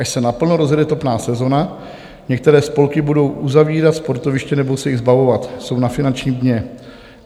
Až se naplno rozjede topná sezona, některé spolky budou uzavírat sportoviště nebo se jich zbavovat, jsou na finančním dně.